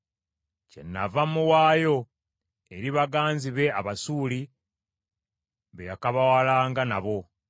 “Kyenava muwaayo eri baganzi be Abasuuli, be yakabawalanga nabo.